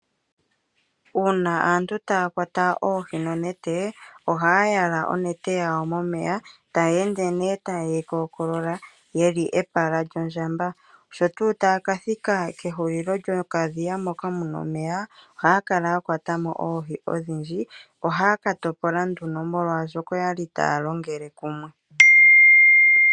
Uuna aantu taya kwata oohi nonete, ohaya yala onete yawo momeya taya ende nee taye yi kookolola ye li epala lyondjamba. Sho tuu taaka thika kehulilo lyokadhiya moka mu na omeya ohaya kala ya kwata mo oohi odhindji. Ohaya ka topola nduno molwashoka oya li taya longele kumwe.